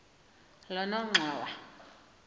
lonongxowa